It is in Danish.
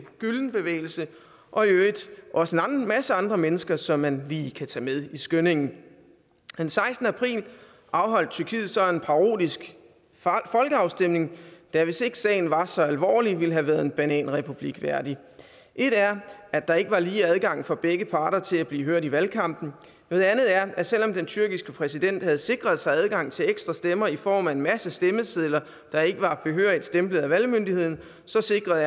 gülen bevægelse og i øvrigt også en masse andre mennesker som man lige kan tage med i skyndingen den sekstende april afholdt tyrkiet så en parodisk folkeafstemning der hvis ikke sagen var så alvorlig ville have været en bananrepublik værdig et er at der ikke var lige adgang for begge parter til at blive hørt i valgkampen noget andet er at selv om den tyrkiske præsident erdogan havde sikret sig adgang til ekstra stemmer i form af en masse stemmesedler der ikke var behørigt stemplet af valgmyndigheden så sikrede